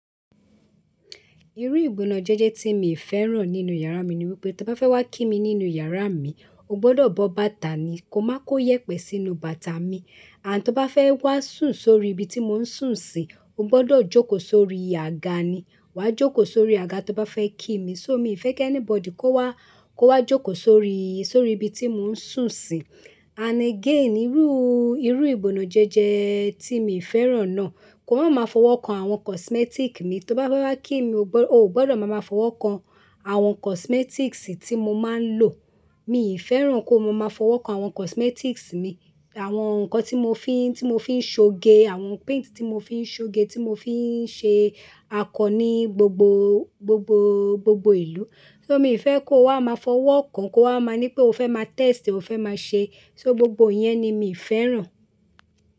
Irú ìbọnọjẹjẹ tí mi fẹ́ràn nínú yàrá mi ni wípé tó bá fẹ́ wá kí mi nínú yàrá mi, o gbọdọ̀ bọ bàtà ni, ko má kó yẹpẹ sínú bàtà mi. And tó bá fẹ́ wá sùn sórí ibi tí mo ń sùn sí, o gbọdọ̀ jókòó sórí àga ni, wà á jókòó sórí àga tó bá fẹ́ kí mi. So mi fẹ́ kẹ́ anybody kó wá, kó wá jókòó sórí, sórí ibi tí mo ń sùn sí. And again, irú, irú ìbọnọjẹjẹ tí mii fẹ́ràn náà, kó má má fọwọ́ kan àwọn kọsmẹtik mi. Tó bá fẹ́ wá kí mi oo gbọdọ̀, oo gbọdọ̀ máa máa fọwọ́ kan àwọn kọsmẹtiks tí mo máa ń lò. Mii fẹ́ràn kó mo máa má fọwọ́ kan àwọn kọsmẹtiks mi. Àwọn nǹkan tí mo fín, tí mo fín ṣoge, àwọn paint tí mo fín ṣoge, tí mo fín ṣe akọ ni, gbogbo, gbogbo, gbogbo ìlú. So mi fẹ́ kó wá máa fọwọ́ kan, kó wá máa ni pé o fẹ́ má test, o fẹ́ máa ṣe. So gbogbo ìyẹn ni mii fẹ́ràn.